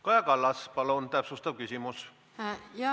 Kaja Kallas, palun, täpsustav küsimus!